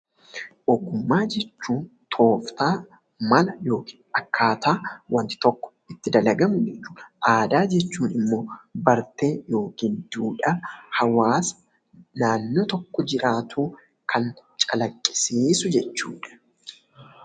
Ogummaa jechuun tooftaa mana yookiin akkaataa wanti tokko itti dalagamu jechuu dha. Aadaa jechuun immoo bartee yookiin duudhaa hawaasa naannoo tokko jiraatuu kan calaqqisiisu jechuu dha.